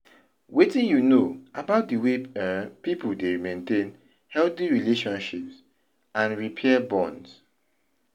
Wetin you know about di way um people dey maintain healthy relationships and repair bonds?